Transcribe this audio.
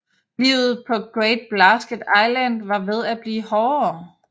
Livet på Great Blasket Island var ved at blive hårdere